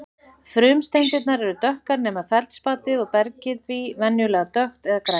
Frumsteindirnar eru dökkar nema feldspatið og bergið því venjulega dökkt eða grænleitt.